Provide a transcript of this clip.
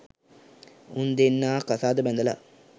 උන් දෙන්නා කසාද බැඳලා